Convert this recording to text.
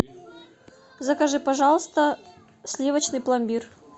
закажи пожалуйста сливочный пломбир